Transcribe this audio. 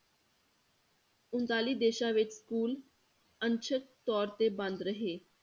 ਉਣਤਾਲੀ ਦੇਸਾਂ ਵਿੱਚ school ਅੰਸ਼ਕ ਤੌਰ ਤੇ ਬੰਦ ਰਹੇ।